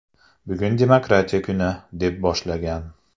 Bugun demokratiya kuni”, deb boshlagan .